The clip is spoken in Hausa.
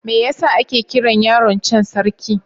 Me yasa ake kiran yaron can Sarki?